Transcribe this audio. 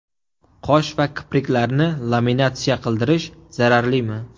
Qosh va kipriklarni laminatsiya qildirish zararlimi?